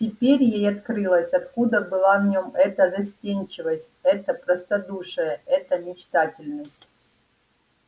теперь ей открылось откуда была в нём эта застенчивость это простодушие эта мечтательность